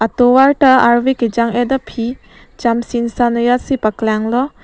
tovar ta arve kejang et aphi cham chimsam asonsi paklanglo.